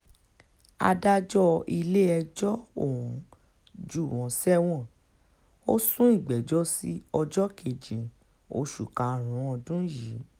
adájọ́ ilé-ẹjọ́ ọ̀hún jù wọ́n sẹ́wọ̀n ò sún ìgbẹ́jọ́ sí ọjọ́ kejì oṣù karùn-ún ọdún yìí